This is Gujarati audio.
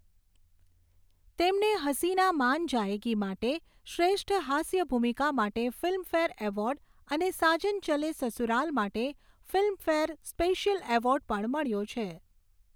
તેમને 'હસીના માન જાએગી' માટે શ્રેષ્ઠ હાસ્ય ભૂમિકા માટે ફિલ્મફેર એવોર્ડ અને 'સાજન ચલે સસુરાલ' માટે ફિલ્મફેર સ્પેશિયલ એવોર્ડ પણ મળ્યો છે.